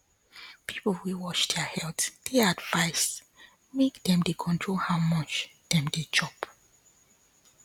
people wey dey watch their health dey advised make dem dey control how much dem dey chop